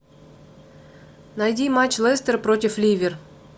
найди матч лестер против ливер